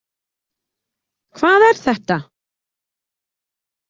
Hvað er þetta?